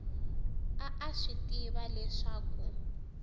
a a swi tiva leswaku